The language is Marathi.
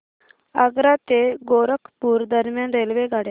आग्रा ते गोरखपुर दरम्यान रेल्वेगाड्या